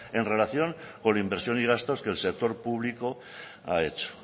en relación con inversión y gasto que el sector público ha hecho